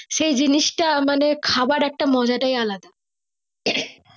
সেই জিনিস মানে খাবার একটা মজাটাই আলাদা